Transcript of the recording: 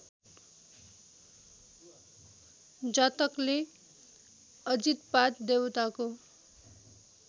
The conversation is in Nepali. जातकले अजितपाद देवताको